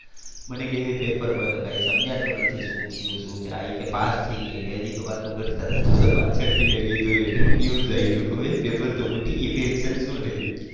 મને કે એ પેપરમાં તો કઈ સમજાતું નથી શું થયું શું એ કે પાસ થઈ ગયા એ હજી તો વાતું કરતાં હતા પાછળ થી મે કીધું news આવી કીધું બેન પેપર તો ફૂટી ગયું tension શું લે છો.